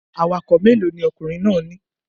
Awakọ̀ mélòó ni ọkùnrin náà ní